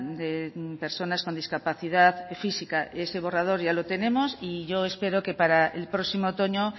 de personas con discapacidad física ese borrador ya lo tenemos y yo espero que para el próximo otoño